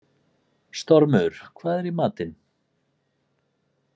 Stormur, hvað er í matinn?